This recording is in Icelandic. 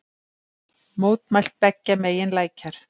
Mótmælt beggja megin lækjar